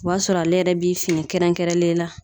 O b'a sɔrɔ ale yɛrɛ bi fini kɛrɛnkɛrɛnlen la